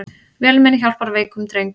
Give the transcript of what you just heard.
Vélmenni hjálpar veikum dreng